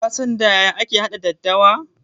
Ka san da yaya ake haɗa daddawa?